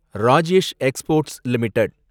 Rajesh exports limited